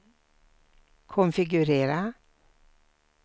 konfigurera